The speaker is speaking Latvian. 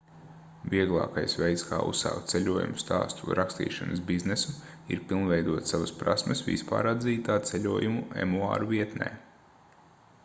vieglākais veids kā uzsākt ceļojumu stāstu rakstīšanas biznesu ir pilnveidot savas prasmes vispāratzītā ceļojumu emuāru vietnē